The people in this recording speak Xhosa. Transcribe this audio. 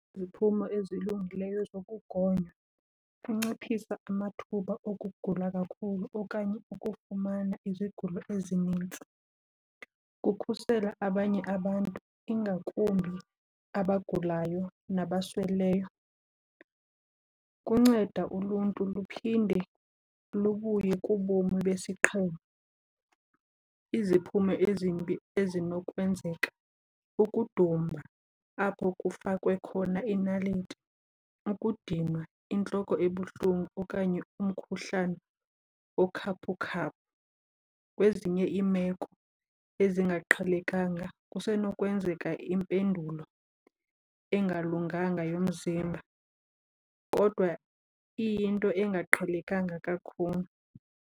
Iziphumo ezilungileyo zokugonywa, kunciphisa amathuba okugula kakhulu okanye ukufumana izigulo ezinintsi, kukhusela abanye abantu ingakumbi abagulayo nabasweleyo, kunceda uluntu luphinde lubuye kubomi besiqhelo. Iziphumo ezimbi ezinokwenzeka, ukudumba apho kufakwe khona inaliti, ukudinwa, intloko ebuhlungu okanye umkhuhlane okhaphukhaphu. Kwezinye iimeko ezingaqhelekanga kusenokwenzeka impendulo engalunganga yomzimba kodwa iyinto engaqhelekanga kakhulu.